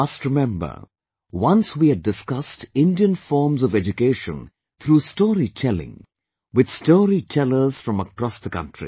You must remember, once we had discussed Indian forms of education through Story Telling with Story Tellers from across the country